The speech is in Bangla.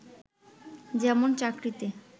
যেমন চাকরিতে